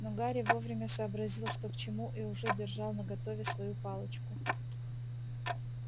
но гарри вовремя сообразил что к чему и уже держал наготове свою палочку